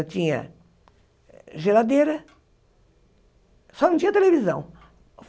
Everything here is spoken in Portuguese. Eu tinha geladeira, só não tinha televisão.